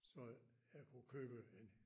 Så jeg kunne købe en